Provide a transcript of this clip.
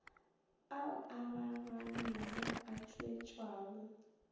ao a raranego a tpwetpwago